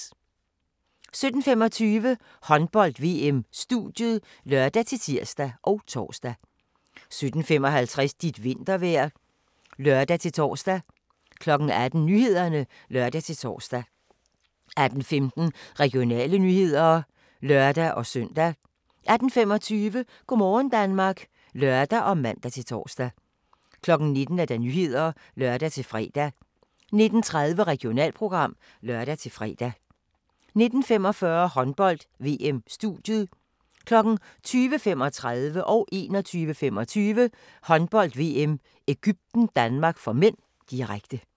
17:25: Håndbold: VM - studiet (lør-tir og tor) 17:55: Dit vintervejr (lør-tor) 18:00: Nyhederne (lør-tor) 18:15: Regionale nyheder (lør-søn) 18:25: Go' aften Danmark (lør og man-tor) 19:00: Nyhederne (lør-fre) 19:30: Regionalprogram (lør-fre) 19:45: Håndbold: VM - studiet 20:35: Håndbold: VM – Egypten-Danmark (m), direkte 21:25: Håndbold: VM – Egypten-Danmark (m), direkte